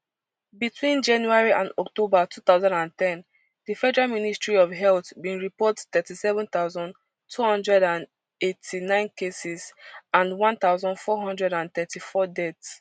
between january and october two thousand and ten di federal ministry of health bin report thirty-seven thousand, two hundred and eighty-nine cases and one thousand, four hundred and thirty-four deaths